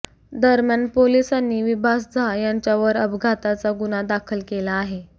दरम्यान पोलिसांनी विभास झा यांच्यावर अपघाताचा गुन्हा दाखल केला आहे